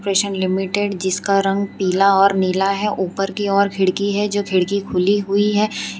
Limited जिसका रंग पीला और नीला है ऊपर की ओर खिड़की है जो खिड़की खुली हुई है।